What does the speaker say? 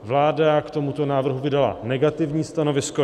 Vláda k tomuto návrhu vydala negativní stanovisko.